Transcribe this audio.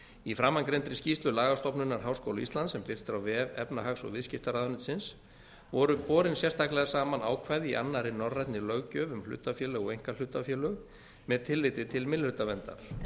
í framangreindri skýrslu lagastofnunar háskóla íslands sem birt er á vef efnahags og viðskiptaráðuneytisins voru borin sérstaklega saman ákvæði í annarri norrænni löggjöf um hlutafélög og einkahlutafélög með tilliti til minnihlutaverndar